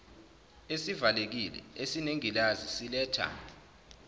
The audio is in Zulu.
esivalekile esinengilazi siletha